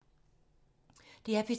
DR P2